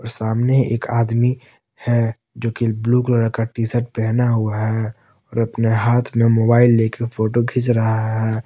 सामने एक आदमी है जो कि ब्लू कलर का टी शर्ट पहना हुआ है और अपने हाथ में मोबाइल लेकर फोटो खींच रहा है।